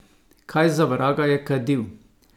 Kaj za vraga je kadil?